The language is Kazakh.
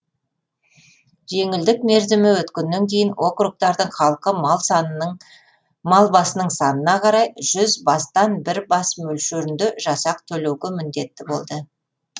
жеңілдік мерзімі өткеннен кейін округтардың халқы мал басының санына қарай жүз бастан бір бас мөлшерінде жасақ төлеуге міндетті болды